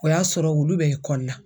O y'a sɔrɔ ulu bɛ la.